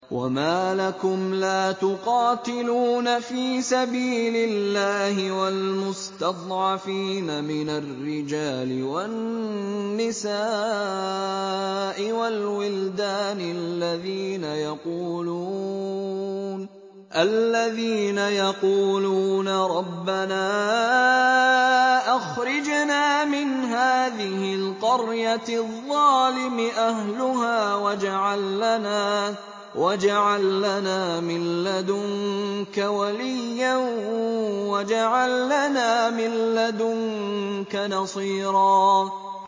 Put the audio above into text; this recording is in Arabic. وَمَا لَكُمْ لَا تُقَاتِلُونَ فِي سَبِيلِ اللَّهِ وَالْمُسْتَضْعَفِينَ مِنَ الرِّجَالِ وَالنِّسَاءِ وَالْوِلْدَانِ الَّذِينَ يَقُولُونَ رَبَّنَا أَخْرِجْنَا مِنْ هَٰذِهِ الْقَرْيَةِ الظَّالِمِ أَهْلُهَا وَاجْعَل لَّنَا مِن لَّدُنكَ وَلِيًّا وَاجْعَل لَّنَا مِن لَّدُنكَ نَصِيرًا